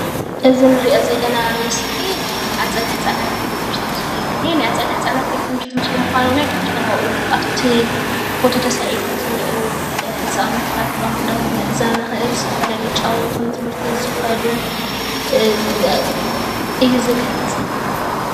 እዚ እንሪኦ ዘለና ምስሊ ናይ ኣፀደ ህፃናት ቤት ትምህርቲ ምስሊ እዩ ዝኒኤ። ናይ ኣፀደ ህፃናት ቤት ትምህርቲ ምስሊ ምኳኑ እውን ካብቶም ኣብኡ ኣብቲ ፎቶ ተሳኢሎም ዝኒኤው ህፃውቲታት ፣ ባንቡላታት ምዕዛብ ንክእል፤ ዝተፈላለዩ ዝጫወቱን ትምህርቲ ቤት ዝከዱን እዩ ዝገልፅ።